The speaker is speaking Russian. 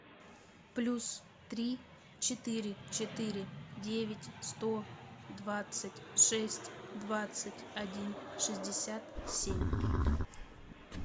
плюс три четыре четыре девять сто двадцать шесть двадцать один шестьдесят семь